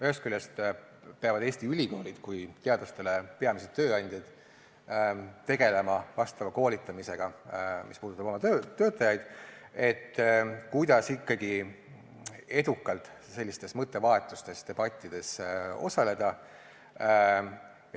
Ühest küljest peavad Eesti ülikoolid kui teadlaste peamised tööandjad tegelema koolitamisega, mis puudutab oma töötajaid, kuidas ikkagi edukalt sellistes mõttevahetustes, debattides osaleda.